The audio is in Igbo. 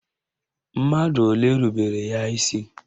Mmadụ ole rubere ya isi?